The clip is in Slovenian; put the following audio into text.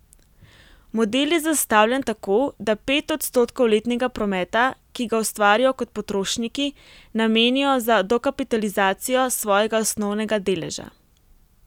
Model je zastavljen tako, da pet odstotkov letnega prometa, ki ga ustvarijo kot potrošniki, namenijo za dokapitalizacijo svojega osnovnega deleža.